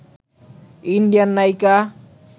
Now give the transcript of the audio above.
Indian নায়িকা